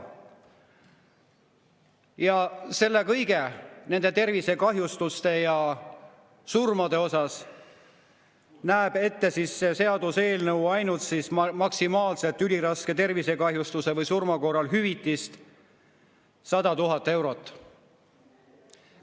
Ja selle kõige, nende tervisekahjustuste ja surmade peale näeb seaduseelnõu ette ainult üliraske tervisekahjustuse või surma korral hüvitist maksimaalselt 100 000 eurot.